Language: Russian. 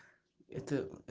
это